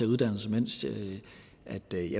uddannelse